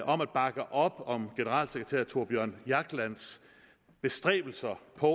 om at bakke op om generalsekretær thorbjørn jaglands bestræbelser på